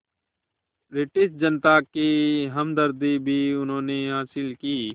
British जनता की हमदर्दी भी उन्होंने हासिल की